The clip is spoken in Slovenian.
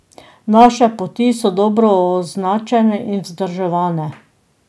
Naše poti so dobro označene in vzdrževane.